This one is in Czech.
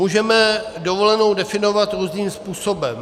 Můžeme dovolenou definovat různým způsobem.